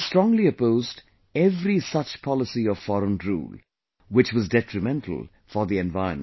He strongly opposed every such policy of foreign rule, which was detrimental for the environment